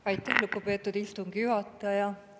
Aitäh, lugupeetud istungi juhataja!